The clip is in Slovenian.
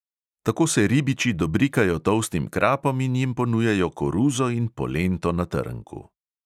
Tako se ribiči dobrikajo tolstim krapom in jim ponujajo koruzo in polento na trnku.